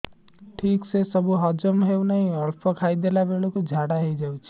ଠିକସେ ସବୁ ହଜମ ହଉନାହିଁ ଅଳ୍ପ ଖାଇ ଦେଲା ବେଳ କୁ ଝାଡା ହେଇଯାଉଛି